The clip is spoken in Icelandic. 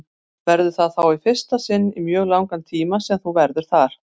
Verður það þá í fyrsta sinn í mjög langan tíma sem þú verður þar?